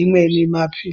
imweni maphi.